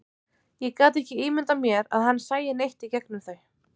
Ég gat ekki ímyndað mér að hann sæi neitt í gegnum þau.